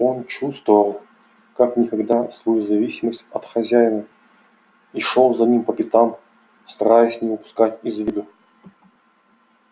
он чувствовал как никогда свою зависимость от хозяина и шёл за ним по пятам стараясь не упускать его из виду